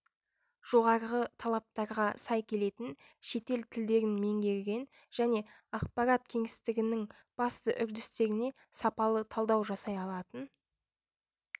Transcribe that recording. жоғарғы талаптарға сай келетін шетел тілдерін меңгерген және ақпарат кеңістігінің басты үрдістеріне сапалы талдау жасай алатын